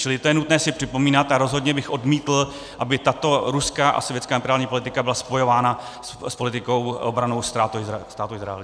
Čili to je nutné si připomínat a rozhodně bych odmítl, aby tato ruská a sovětská imperiální politika byla spojována s politikou obrannou Státu Izrael.